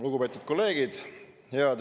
Lugupeetud kolleegid!